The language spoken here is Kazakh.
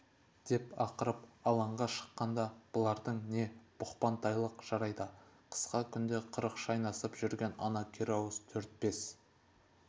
деп ақырып алаңға шыққанда бұлардың не бұқпантайлық жарайды қысқа күнде қырық шайнасып жүрген ана керауыз төрт-бес